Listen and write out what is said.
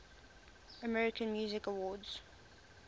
american music awards